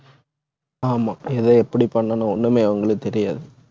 ஆமா எதை எப்படி பண்ணணும் ஒண்ணுமே அவங்களுக்கு தெரியாது.